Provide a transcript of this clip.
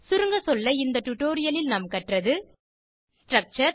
சுருங்கசொல்ல இந்த டுடோரியலில் நாம் கற்றது ஸ்ட்ரக்சர்